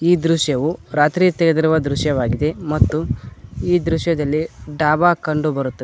ಈ ದೃಶ್ಯವೂ ರಾತ್ರಿ ತೆಗೆದೀರುವ ದೃಶ್ಯವಾಗಿದೆ ಮತ್ತು ಈ ದೃಶ್ಯದಲ್ಲಿ ಡಾಬಾ ಕಂಡು ಬರುತ್ತದೆ.